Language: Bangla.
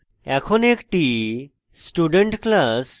এখন একটি student class এবং